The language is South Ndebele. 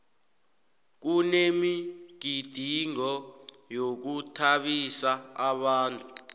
kunemigidingo yokuthabisa abantu